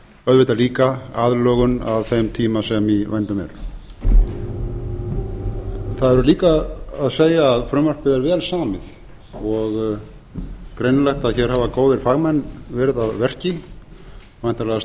auðvitað líka aðlögun að þeim tíma sem í vændum er það hefur líka að segja að frumvarpið er vel samið og greinilegt að hér hafa góðir fagmenn verið að verki væntanlega